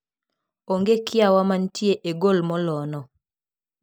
Onge kiawa mantie e gol molo no.